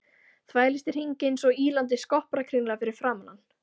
Þvælist í hringi einsog ýlandi skopparakringla fyrir framan hann.